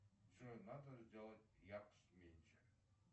джой надо сделать яркость меньше